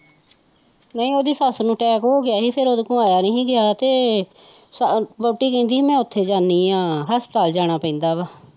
ਨਹੀਂ ਉਹਦੀ ਸੱਸ ਨੂੰ ਟੈਕ ਹੋ ਗਿਆ ਸੀ ਫਿਰ ਉਹਦੇ ਕੋਲੋਂ ਆਇਆ ਨੀ ਸੀ ਗਯਾ ਤੇ ਵੋਹਟੀ ਕਹਿਦੀ ਸੀ ਮੈਂ ਉੱਥੇ ਜਾਨੀ ਆ ਹਸਪਤਾਲ ਜਾਣਾ ਪੈਂਦਾ ਵਾ